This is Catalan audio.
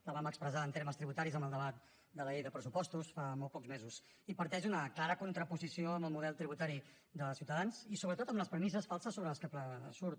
la vam expressar en termes tributaris en el debat de la llei de pressupostos fa molts pocs mesos i parteix d’una clara contraposició amb el model tributari de ciutadans i sobretot amb les premisses falses sobre les que surt